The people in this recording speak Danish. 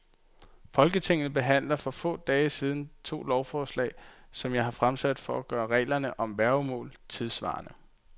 Folketinget behandlede for få dage siden to lovforslag, som jeg har fremsat for at gøre reglerne om værgemål tidssvarende.